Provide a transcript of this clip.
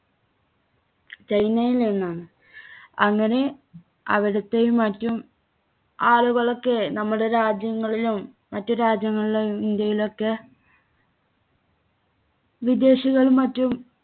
ചൈനയിൽനിന്നാണ്. അങ്ങനെ അവിടത്തെയും മറ്റും ആളുകളൊക്കെ നമ്മുടെ രാജ്യങ്ങളിലും മറ്റു രാജ്യങ്ങളിലും ഇന്ത്യയിലൊക്കെ വിദേശികളും മറ്റും